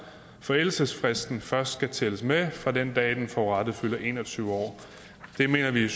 forældelsesfristen først skal tælles med fra den dag den forurettede fylder en og tyve år det mener vi i